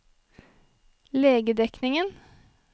legedekningen